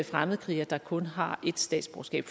fremmedkrigere der kun har ét statsborgerskab